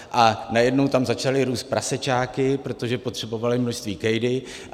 A najednou tam začaly růst prasečáky, protože potřebovali množství kejdy.